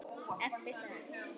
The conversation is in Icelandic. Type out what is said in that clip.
Eftir það